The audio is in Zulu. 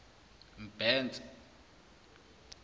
mbhense